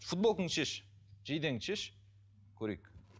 футболкаңды шеш жейдеңді шеш көрейік